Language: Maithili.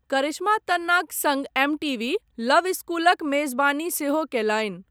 करिश्मा तन्नाक सङ्ग एमटीवी लव स्कूलक मेजबानी सेहो कयलनि।